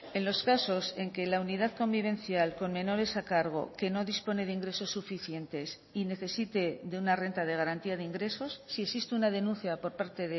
en los casos en que la unidad convivencial con menores a cargo que no dispone de ingresos suficientes y necesite de una renta de garantía de ingresos si existe una denuncia por parte